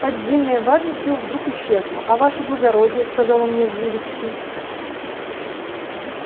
поддельная важность его вдруг исчезла а ваше благородие сказал он мне с живостью